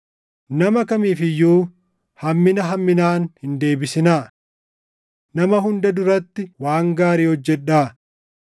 Nama kamiif iyyuu hammina hamminaan hin deebisinaa. Nama hunda duratti waan gaarii hojjedhaa.